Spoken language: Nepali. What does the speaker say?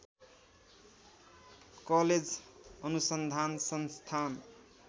कलेज अनुसन्धान संस्थान